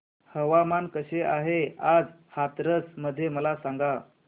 हवामान कसे आहे आज हाथरस मध्ये मला सांगा